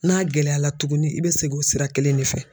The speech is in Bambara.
N'a gɛlɛyara tugunni i bɛ segin o sira kelen de fɛ.